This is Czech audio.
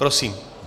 Prosím.